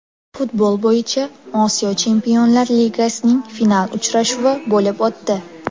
Futbol bo‘yicha Osiyo Chempionlar Ligasining final uchrashuvi bo‘lib o‘tdi.